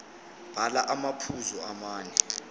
bhala amaphuzu amane